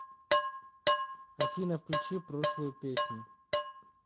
афина включи прошлую песню